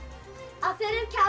af því hann reif kjaft